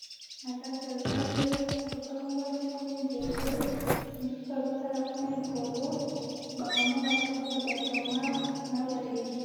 Na kati ya zado papa moko asimbi nzete mosusu azotala kuna likolo bamama bazoteka batomate na ba legime.